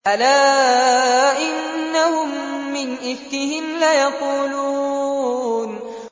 أَلَا إِنَّهُم مِّنْ إِفْكِهِمْ لَيَقُولُونَ